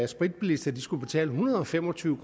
spritbilister skulle betale en hundrede og fem og tyve